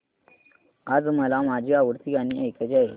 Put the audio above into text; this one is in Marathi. आज मला माझी आवडती गाणी ऐकायची आहेत